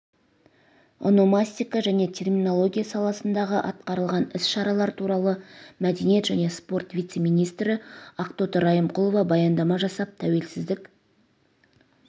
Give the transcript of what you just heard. ономастика және терминология саласындағы атқарылған іс-шаралар туралы мәдениет және спорт вице-министрі ақтоты райымқұлова баяндама жасап тәуелсіздік